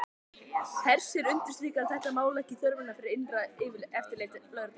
Hersir, undirstrikar þetta mál ekki þörfina fyrir innra eftirlit lögreglunnar?